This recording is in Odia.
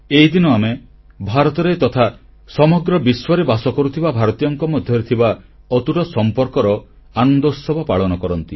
ଏହିଦିନ ଆମେ ଭାରତରେ ତଥା ସମଗ୍ର ବିଶ୍ୱରେ ବାସ କରୁଥିବା ଭାରତୀୟଙ୍କ ମଧ୍ୟରେ ଥିବା ଅତୁଟ ସମ୍ପର୍କର ଆନନ୍ଦୋତ୍ସବ ପାଳନ କରୁ